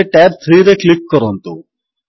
ଏବେ tab 3ରେ click କରନ୍ତୁ